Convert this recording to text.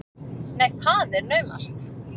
Nú, það er naumast!